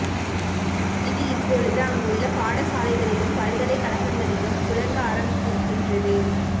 இது இப்பொழுது அங்குள்ள பாடசாலைகளிலும் பல்கலைக் கழகங்களிலும் புழங்க ஆரம்பித்திருக்கின்றது